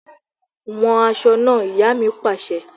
Wọn aṣọ náà! Ìyá mi pàṣẹ.